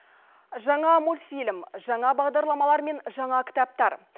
жаңа мультфильм жаңа бағдарламалар мен жаңа кітаптар